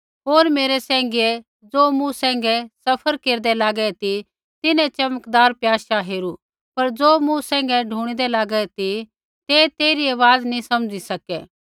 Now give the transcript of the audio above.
होर मेरै सैंघियै ज़ो मूँ सैंघै सफ़र केरदै लागै ती तिन्हैं च़मकदार प्याशा हेरू पर ज़ो मूँ सैंघै ढूणिदा लागा ती तै तेइरी आवाज़ नी समझ़ी सकै